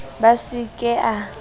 b a se ke a